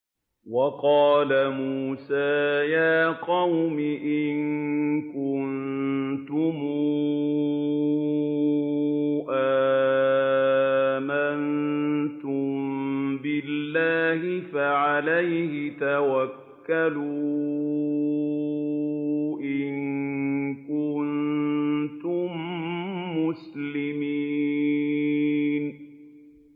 وَقَالَ مُوسَىٰ يَا قَوْمِ إِن كُنتُمْ آمَنتُم بِاللَّهِ فَعَلَيْهِ تَوَكَّلُوا إِن كُنتُم مُّسْلِمِينَ